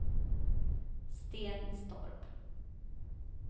Stenstorp